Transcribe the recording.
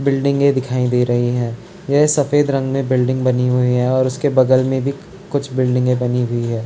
बिल्डिंगे दिखाई दे रही हैं यह सफेद रंग में बिल्डिंग बनी हुई है और उसके बगल में भी कुछ बिल्डिंगे बनी हुई है।